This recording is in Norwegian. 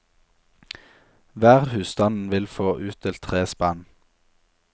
Hver husstand vil få utdelt tre spann.